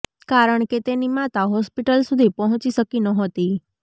કારણ કે તેની માતા હોસ્પીટલ સુધી પહોંચી શકી નહોતી